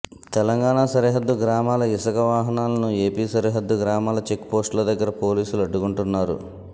తెలంగాణ సరిహద్దు గ్రామాల ఇసుక వాహనాలను ఏపీ సరిహద్దు గ్రామాల చెక్పోస్టుల దగ్గర పోలీసులు అడ్డుకుంటున్నారు